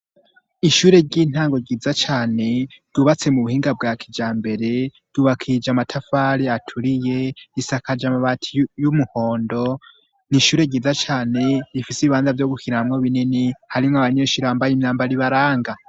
Ishure ry'intango ryiza cane, ryubatse mu buhinga bwa kijambere, ryubakishije amatafari aturiye, risakaje amabati y'umuhondo, ni ishure ryiza cane, rifise ibibanza vyo gukiniramwo binini, harimwo abanyeshure bambaye imyambo ibaranga.